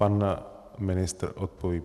Pan ministr odpoví.